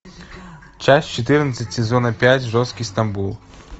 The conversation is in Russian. часть четырнадцать сезона пять жесткий стамбул